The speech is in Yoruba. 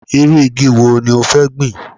Irú igi wo ní o fẹ́ gbin